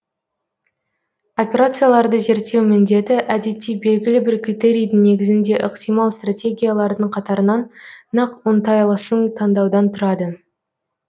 операцияларды зерттеу міндеті әдетте белгілі бір критерийдің негізінде ықтимал стратегиялардың қатарынан нақ оңтайлысын тандаудан тұрады